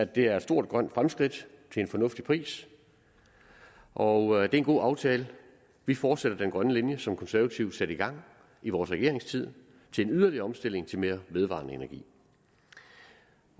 det er et stort grønt fremskridt til en fornuftig pris og det er en god aftale vi fortsætter den grønne linje som konservative satte i gang i vores regeringstid til en yderligere omstilling til mere vedvarende energi